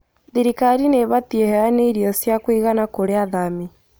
Thirikari nĩ ĩbatiĩ ĩheane irio cia kũigana kũrĩ athami